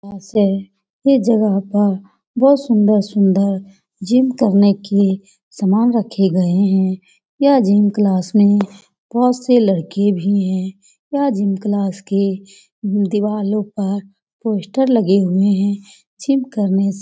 यहाँ से ये जगह पर बहुत सुन्दर-सुन्दर जिम करने के सामान रखे गए हैं। यह जिम क्लास में बहुत से लड़के भी हैं। यह जिम क्लास के दिवारों पर पोस्टर लगे हुए हैं। जिम करने से --